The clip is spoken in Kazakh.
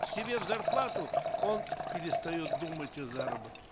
себе в зарплату он перестает думать о заработке